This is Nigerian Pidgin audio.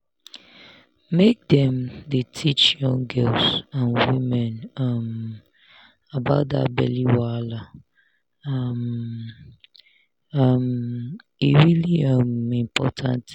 make dem dey teach young girls and women um about that belly wahala um um e really um important